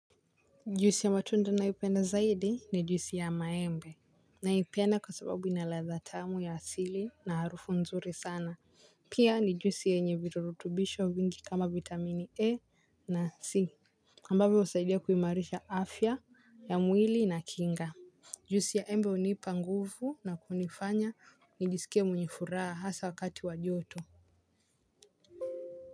Juisi ya matunda naipenda zaidi ni juisi ya maembe. Naipenda kwa sababu ina ladha tamu ya asili na harufu nzuri sana. Pia ni juisi yenye virutubisho vingi kama vitamini A na C ambavyo husaidia kuimarisha afya ya mwili na kinga. Juisi ya embe hunipa nguvu na kunifanya nijisikie mwenye furaha hasa wakati wa joto.